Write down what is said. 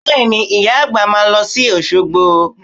Bẹ́ẹ̀ni, Ìyá àgbà máa lọ sí Òṣogbo